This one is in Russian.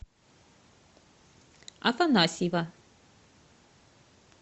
афанасьева